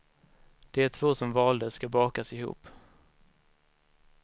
De två som valdes ska bakas ihop.